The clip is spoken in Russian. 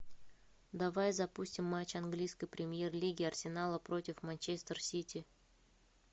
давай запустим матч английской премьер лиги арсенала против манчестер сити